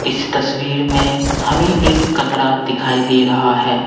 इस तस्वीर में हमें एक कमरा दिखाई दे रहा है।